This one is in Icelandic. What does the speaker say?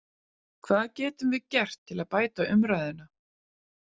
Hvað getum við gert til að bæta umræðuna?